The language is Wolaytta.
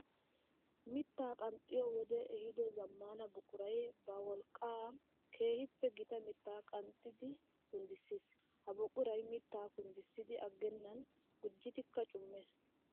Mitta qanxxiya wode ehiido zamaana buquray ba wolqqan keehippe gitta mitta qanxxiddi kunddissis. Ha buquray mitta kunddissiddi agennan gujjiddikka cummees.